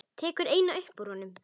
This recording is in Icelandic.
Tekur eina upp úr honum.